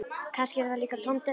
Kannski er þetta líka tóm della.